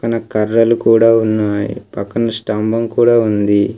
న కర్రలు కూడా ఉన్నాయి పక్కన స్తంభం కూడా ఉంది.